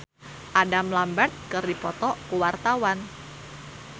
Teuku Rassya jeung Adam Lambert keur dipoto ku wartawan